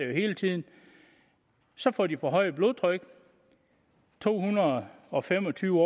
jo hele tiden så får de forhøjet blodtryk to hundrede og fem og tyve